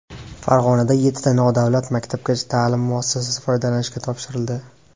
Farg‘onada yettita nodavlat maktabgacha ta’lim muassasasi foydalanishga topshirildi.